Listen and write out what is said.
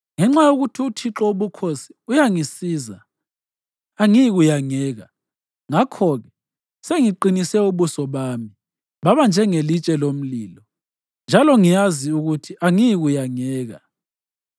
Ngenxa yokuthi uThixo Wobukhosi uyangisiza angiyikuyangeka. Ngakho-ke sengiqinise ubuso bami babanjengelitshe lomlilo; njalo ngiyazi ukuthi angiyikuyangeka.